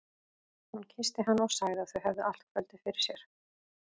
Hún kyssti hann og sagði að þau hefðu allt kvöldið fyrir sér.